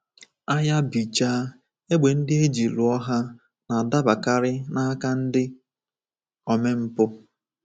Agha bichaa, égbè ndị e ji lụọ ha na-adabakarị n’aka ndị omempụ.